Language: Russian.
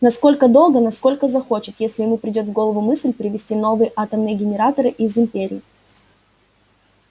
настолько долго насколько захочет если ему придёт в голову мысль привезти новые атомные генераторы из империи